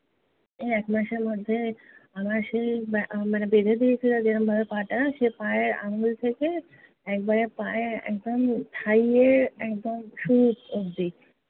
এই একমাসের মধ্যে আমার সেই, মা~ মানে বেঁধে দিয়েছিলো যেরম ভাবে পা টা, সেই পায়ের আঙ্গুল থেকে একেবারে পায়ে একদম thigh এর একদম শুরু অব্দি,